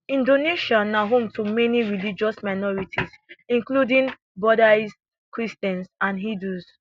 inAcceptedsia na home to many religious minorities including buddhists christians and hindus